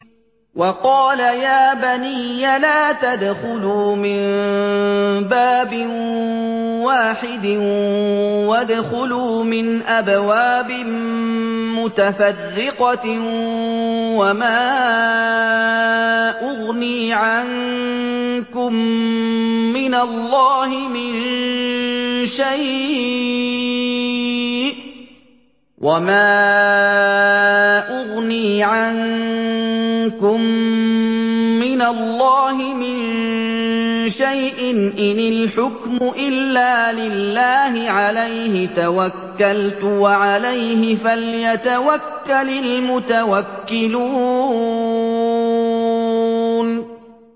وَقَالَ يَا بَنِيَّ لَا تَدْخُلُوا مِن بَابٍ وَاحِدٍ وَادْخُلُوا مِنْ أَبْوَابٍ مُّتَفَرِّقَةٍ ۖ وَمَا أُغْنِي عَنكُم مِّنَ اللَّهِ مِن شَيْءٍ ۖ إِنِ الْحُكْمُ إِلَّا لِلَّهِ ۖ عَلَيْهِ تَوَكَّلْتُ ۖ وَعَلَيْهِ فَلْيَتَوَكَّلِ الْمُتَوَكِّلُونَ